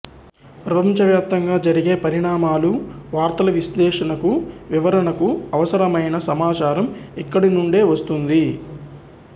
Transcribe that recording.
ప్రపంచ వ్యాప్తంగా జరిగే పరిణామాలు వార్తల విశ్లేషణకు వివరణకు అవసరమైన సమాచారం ఇక్కడి నుండే వస్తుంది